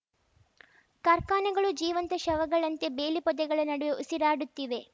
ಕಾರ್ಖಾನೆಗಳು ಜೀವಂತ ಶವಗಳಂತೆ ಬೇಲಿ ಪೊದೆಗಳ ನಡುವೆ ಉಸಿರಾಡುತ್ತಿವೆ